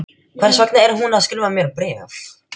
Hvers vegna er hún að skrifa mér bréf?